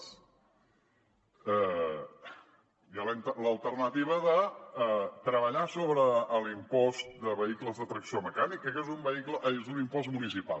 hi ha l’alternativa de treballar sobre l’impost de vehicles de tracció mecànica que és un impost municipal